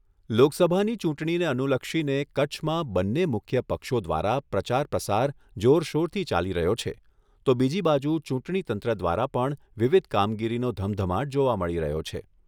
લોકસભાની ચૂંટણીને અનુલક્ષીને કચ્છમાં બન્ને મુખ્ય પક્ષો દ્વારા પ્રચારપ્રસાર જોરશોરથી ચાલી રહ્યો છે, તો બીજી બાજુ ચૂંટણીતંત્ર દ્વારા પણ વિવિધ કામગીરીનો ધમધમાટ જોવા મળી રહ્યો છે.